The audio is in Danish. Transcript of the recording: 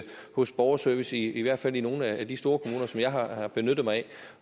hos borgerservice i hvert fald i nogle af de store kommuner som jeg har benyttet mig